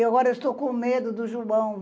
E agora eu estou com medo do Gilbão.